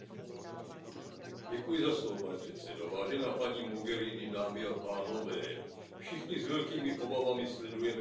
Pane předsedající, vážená paní Mogheriniová, dámy a pánové, všichni s velkými obavami sledujeme vyhrocenou situaci v Libyi.